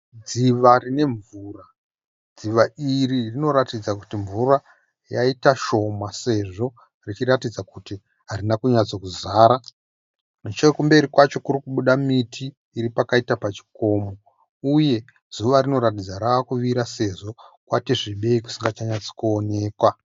Dziva rine mvura. Dziva iri rinoratidza kuti mvura yaita shoma sezvo richiratidza kuti harina kunyatsokuzara. Nechekumberi kwacho kuri kubuda miti iri pakaita pachikomo uye zuva rinoratidza rava kuvira sezvo kwati svibei kusingachanyatsi kuonekwa.